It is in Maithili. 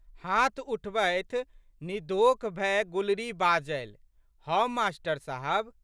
हाथ उठबात निधोख भए गुलरी बाजलि, हम मास्टर साहब।